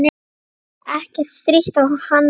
Ekkert stríddi á hann lengur.